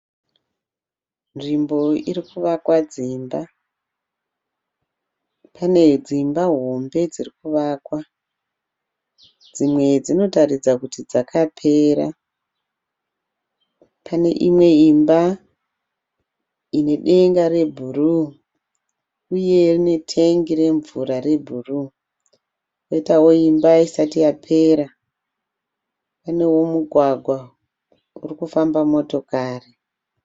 Nzvimbo iri kuvakwa dzimba. Pane dzimba hombe dziri kuvakwa. Dzimwe dzinotaridza kuti dzakapera. Pane imwe imba ine denga rebhuruu uye ine tengi remvura rebhuruu kwoitawo imba isati yapera. Panewo mugwagwa uri kufamba motokari.